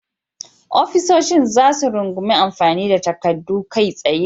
Ofisoshin za su rungumi amfani da takaddun kai tsaye.